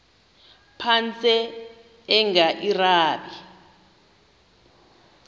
phantsi enge lrabi